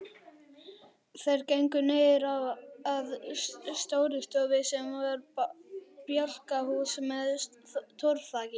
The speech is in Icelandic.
Þeir gengu niður að Stórustofu sem var bjálkahús með torfþaki.